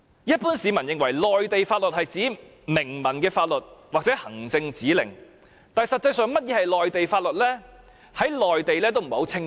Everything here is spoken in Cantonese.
一般市民認為，內地法律是指明文的法律或行政指令，但實際上何謂"內地法律"，在內地也不是十分清晰。